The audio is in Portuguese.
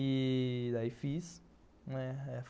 E... daí fiz.